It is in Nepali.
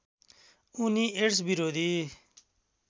उनी एड्स विरोधी